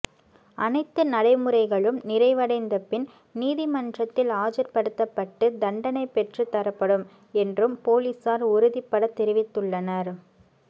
அனைத்து நடைமுறைகளும் நிறைவடைந்த பின் நீதிமன்றத்தில் ஆஜர் படுத்தப்பட்டு தண்டனை பெற்றுத் தரப்படும் என்றும் பொலிசார் உறுதிபட தெரிவித்துள்ளனர்